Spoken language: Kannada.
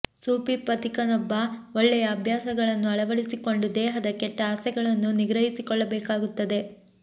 ಸೂಫಿ ಪಥಿಕನೊಬ್ಬ ಒಳ್ಳೆಯ ಅಭ್ಯಾಸಗಳನ್ನು ಅಳವಡಿಸಿಕೊಂಡು ದೇಹದ ಕೆಟ್ಟ ಆಸೆಗಳನ್ನು ನಿಗ್ರಹಿಸಿಕೊಳ್ಳಬೇಕಾಗುತ್ತದೆ